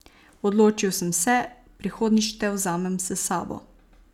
Odločil sem se, prihodnjič te vzamem s sabo.